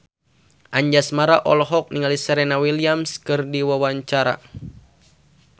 Anjasmara olohok ningali Serena Williams keur diwawancara